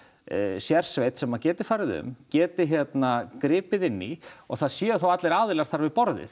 sérsveit sem að geti farið um geti gripið inn í og það séu þá allir aðilar þar við borðið